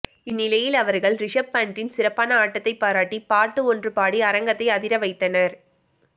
இந்நிலையில் அவர்கள் ரிஷப் பண்ட்டின் சிறப்பான ஆட்டத்தை பாராட்டி பாட்டு ஒன்று பாடி அரங்கத்தை அதிர வைத்தனர்